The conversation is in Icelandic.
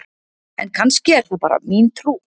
En kannski er það bara mín trú!?